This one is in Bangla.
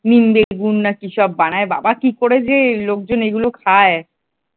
নিম বেগুন না কি সব বানায় বাবা কি করে যে লোকজন এগুলো খায় ।